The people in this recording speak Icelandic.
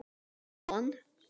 Svo dó hann.